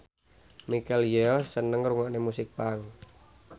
Michelle Yeoh seneng ngrungokne musik punk